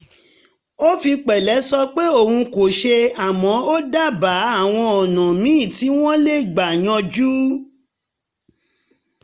ó fi pẹ̀lẹ́ sọ pé òun kò ṣe àmọ́ ó dábàá àwọn ọ̀nà míì tí wọ́n lè gbà yanjú